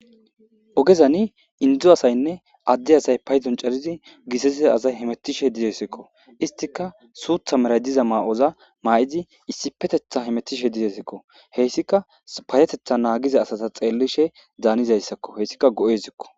Ogezani indo asaynne adde asay paydon coridi githathiza asay paydon coridi githathiza asay hemethishe deesikko issitikka suththa malatizza mayozza mayizzi issipetheththan hemetishen dizayissakko isitikka payateththa nagizza asata xelishshen danizayisakko heyisikka go'esikko.